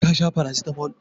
Ka sha paracetamol?